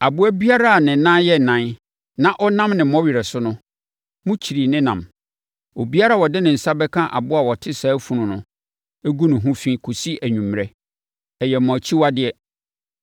Aboa biara a ne nan yɛ ɛnan na ɔnam ne mmɔwerɛ so no, mokyiri ne nam. Obiara a ɔde ne nsa bɛka aboa a ɔte saa funu no ho agu fi kɔsi anwummerɛ; ɛyɛ mo akyiwadeɛ.